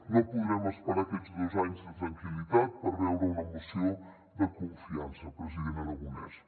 no podrem esperar aquests dos anys de tranquil·litat per veure una moció de confiança president aragonès